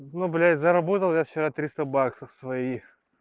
ну блять заработал я вчера триста баксов своих